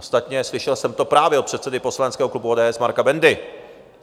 Ostatně slyšel jsem to právě od předsedy poslaneckého klubu ODS Marka Bendy.